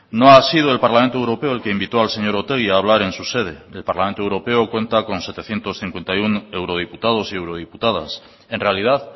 no ha sido el parlamento europeo el que invitó al señor otegi en su sede el parlamento europeo cuenta con setecientos cincuenta y uno eurodiputados y eurodiputadas en realidad